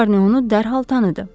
Şarni onu dərhal tanıdı.